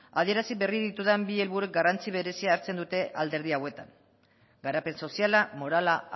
adierazi berri ditudan bi helburuek garrantzi berezia hartzen dute alderdi hauetan garapen soziala morala